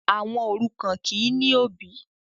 ọmọ òrukàn kìí ní òbì